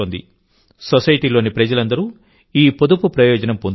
సొసైటీలోని ప్రజలందరూ ఈ పొదుపు ప్రయోజనం పొందుతున్నారు